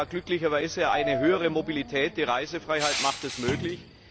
Wir haben ja glücklicherweise eine höhere Mobilität, die Reisefreiheit macht es möglich.